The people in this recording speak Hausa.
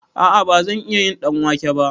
A'a bazan iya yin ɗanwake ba